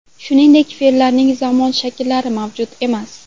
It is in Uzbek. Shuningdek, fe’llarning zamon shakllari mavjud emas.